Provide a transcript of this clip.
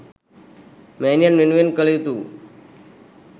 මෑණියන් වෙනුවෙන් කළ යුතු වූ